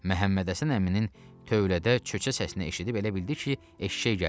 Məhəmməd Həsən əminin tövlədə çöçə səsini eşidib elə bildi ki, eşşək gəlib.